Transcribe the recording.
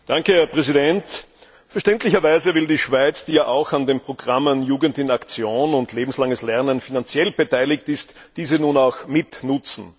Herr Präsident! Verständlicherweise will die Schweiz, die ja auch an den Programmen Jugend in Aktion und Lebenslanges Lernen finanziell beteiligt ist, diese nun auch mit nutzen.